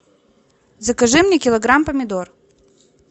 закажи мне килограмм помидор